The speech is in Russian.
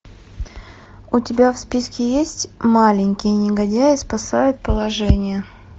у тебя в списке есть маленькие негодяи спасают положение